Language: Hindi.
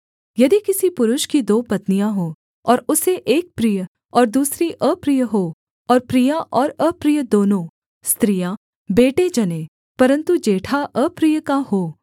यदि किसी पुरुष की दो पत्नियाँ हों और उसे एक प्रिय और दूसरी अप्रिय हो और प्रिया और अप्रिय दोनों स्त्रियाँ बेटे जनें परन्तु जेठा अप्रिय का हो